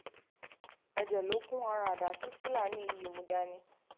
ẹ̀jẹ̀ ló kún ara àdá tí fúlàní yìí mú dání um